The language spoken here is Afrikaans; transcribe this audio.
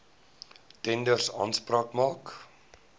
tenders aanspraak maak